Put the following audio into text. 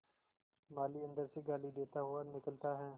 माली अंदर से गाली देता हुआ निकलता है